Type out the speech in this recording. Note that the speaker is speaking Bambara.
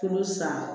Kuru san